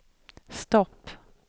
stopp